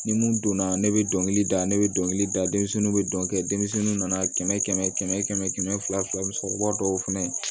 Ni mun donna ne bɛ dɔnkili da ne bɛ dɔnkili da denmisɛnninw bɛ dɔn kɛ denmisɛnninw nana kɛmɛ kɛmɛ kɛmɛ fila fila sɔrɔ ba dɔw fana